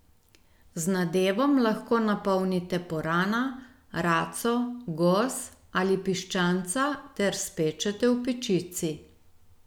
Z nadevom lahko napolnite purana, raco, gos ali piščanca ter spečete v pečici.